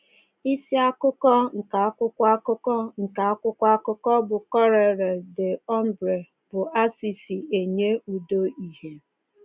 Isi akụkọ nke akwụkwọ akụkọ nke akwụkwọ akụkọ bụ́ Corriere dell’Umbria bụ “Assisi Enye Udo Ìhè.”